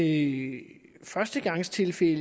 i førstegangstilfælde